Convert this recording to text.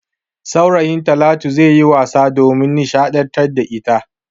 Saurayin Talatu zai yi wasa domin nishadantar da ita.